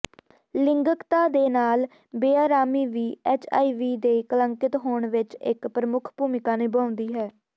ਲਿੰਗਕਤਾ ਦੇ ਨਾਲ ਬੇਅਰਾਮੀ ਵੀ ਐੱਚਆਈਵੀ ਦੇ ਕਲੰਕਿਤ ਹੋਣ ਵਿੱਚ ਇੱਕ ਪ੍ਰਮੁੱਖ ਭੂਮਿਕਾ ਨਿਭਾਉਂਦੀ ਹੈ